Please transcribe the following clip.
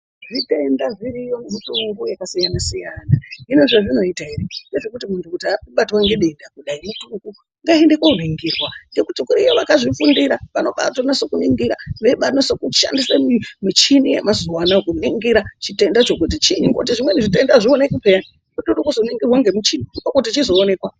Zvitenda zviriyo mutongo yakasiyana -siyana hino zvezvinoita ere ngezvekuti muntu abatwa ngedenda kudai mutongo ngaende koningirwa ngekuti kuriyo vakazvifundira vanobatonase kuningira vachishandisa muchini yemazuwa anaya kuningira chitendacho kuti chinyi ngekuti zvimweni zvitenda azvioneki peya kutozoningirwa ngemuchini ndokuti chizoonekwa.